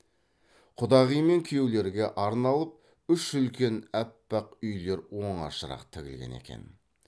құдағи мен күйеулерге арналып үш үлкен аппақ үйлер оңашарақ тігілген екен